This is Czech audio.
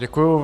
Děkuji.